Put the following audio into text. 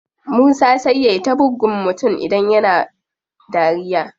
Musa sai yai ta buggun mutum idan yana dariya.